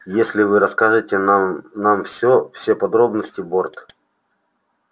если вы расскажете нам нам всё все подробности борт